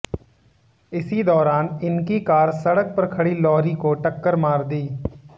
इसी दौरान इनकी कार सड़क पर खड़ी लारी को टक्कर मार दी